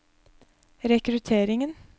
rekrutteringen